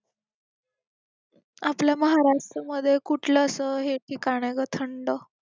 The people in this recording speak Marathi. आपलं महाराष्ट्र मध्ये कुठलं असं हे ठिकाण आहे गं थंड?